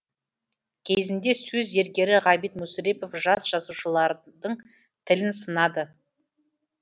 кезінде сөз зергері ғабит мүсірепов жас жазушылардың тілін сынады